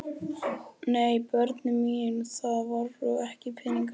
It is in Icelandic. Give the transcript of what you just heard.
Nei börnin mín, það voru ekki peningar.